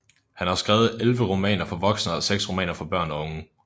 Han har skrevet elleve romaner for voksne og seks romaner for børn og unge